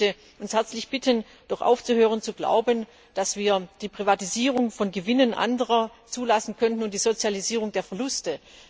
Ich möchte uns herzlich bitten, doch aufzuhören zu glauben, dass wir die Privatisierung von Gewinnen anderer zulassen könnten und die Sozialisierung der Verluste.